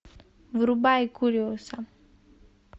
врубай куриоса